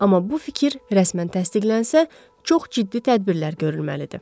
Amma bu fikir rəsmən təsdiqlənsə, çox ciddi tədbirlər görülməlidir.